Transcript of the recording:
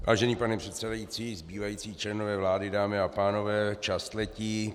Vážený pane předsedající, zbývající členové vlády, dámy a pánové, čas letí.